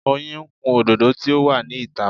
Oyin ń kun òdòdó tí ó wà ní ìta.